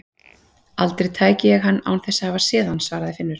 Aldrei tæki ég hann án þess að hafa séð hann svaraði Finnur.